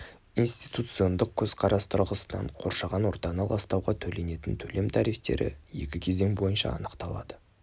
институциондық көзқарас тұрғысынан қоршаған ортаны ластауға төленетін төлем тарифтері екі кезең бойынша анықталады